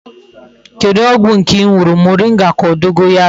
Kedu ogwu nke I nuru, moringa ka o dogorayo?